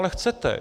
Ale chcete!